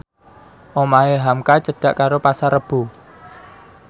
omahe hamka cedhak karo Pasar Rebo